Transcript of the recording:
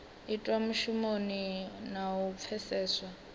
itwa mushumoni na u pfeseswa